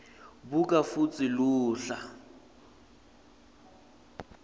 buka futsi luhla